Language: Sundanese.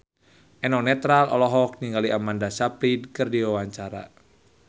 Eno Netral olohok ningali Amanda Sayfried keur diwawancara